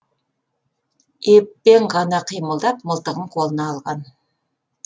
еппен ғана қимылдап мылтығын қолына алған